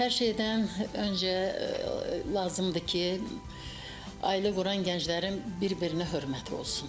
Hər şeydən öncə lazımdır ki, ailə quran gənclərin bir-birinə hörməti olsun.